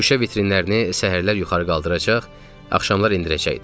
Şüşə vitrinlərini səhərlər yuxarı qaldıracaq, axşamlar endirəcəkdim.